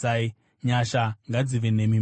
Nyasha ngadzive nemi mose.